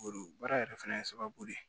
baara yɛrɛ fana ye sababu de ye